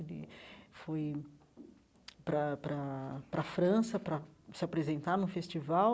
Ele foi para a para a para a França para se apresentar num festival.